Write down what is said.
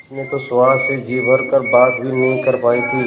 उसने तो सुहास से जी भर कर बात भी नहीं कर पाई थी